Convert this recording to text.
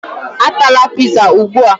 Atala pizza ugbu a!